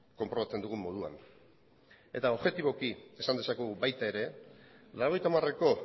konprobatzen dugun moduan eta objetiboki esan dezakegu baita ere mila bederatziehun eta laurogeita hamareko